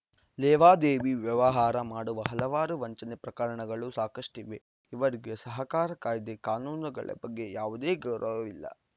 ಲೇವಾದೇವಿ ವ್ಯವಹಾರ ಮಾಡುವ ಹಲವಾರು ವಂಚನೆ ಪ್ರಕರಣಗಳು ಸಾಕಷ್ಟಿವೆ ಇವರಿಗೆ ಸಹಕಾರಿ ಕಾಯ್ದೆ ಕಾನೂನಗಳ ಬಗ್ಗೆ ಯಾವುದೇ ಗೌರವವಿಲ್ಲ